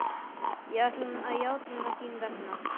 Ég ætla að játa þín vegna.